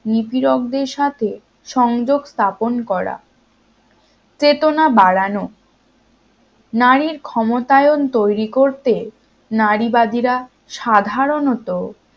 নিপীড়কদের সাথে সংযোগ স্থাপন করা চেতনা বাড়ানো নারীর ক্ষমতায়ন তৈরি করতে নারীবাদীরা সাধারণত